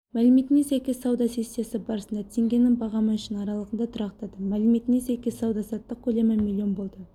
мәліметіне сәйкес сауда сессиясы барысында теңгенің бағамы үшін аралығында тұрақтады мәліметіне сәйкес сауда-саттық көлемі миллион болды